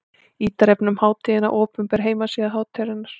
Ítarefni um hátíðina: Opinber heimasíða hátíðarinnar.